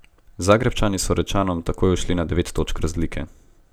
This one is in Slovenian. Zagrebčani so Rečanom torej ušli na devet točk razlike.